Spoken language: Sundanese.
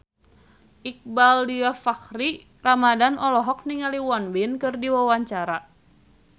Iqbaal Dhiafakhri Ramadhan olohok ningali Won Bin keur diwawancara